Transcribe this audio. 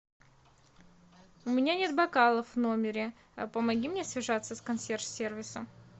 у меня нет бокалов в номере помоги мне связаться с консьерж сервисом